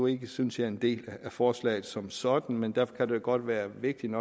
ikke synes jeg en del af forslaget som sådan men derfor kan det godt være vigtigt